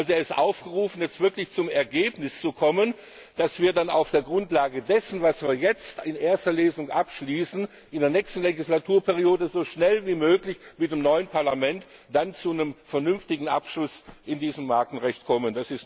Er ist aufgerufen, jetzt wirklich zum Ergebnis zu kommen, damit wir dann auf der Grundlage dessen, was wir jetzt in erster Lesung abschließen, in der nächsten Legislaturperiode so schnell wie möglich mit dem neuen Parlament zu einem vernünftigen Abschluss in diesem Markenrecht kommen.